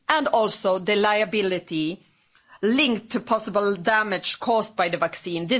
and also the liability linked to possible damage caused by the vaccine.